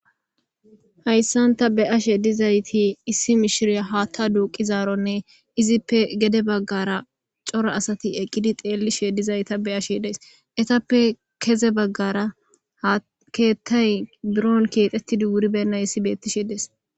Hayssan ta be7ashe dizayti issi mishiriya haatta duuqqizaaronne izippe gede baggara cora asati eqqidi xeellishe dizayta beashe days. Etappe keze baggara ha keettay biron keexettidi wuribennayssi beettishe des.